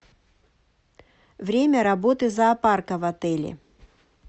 время работы зоопарка в отеле